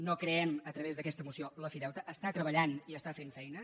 no creem a través d’aquesta moció l’ofideute està treballant i està fent feina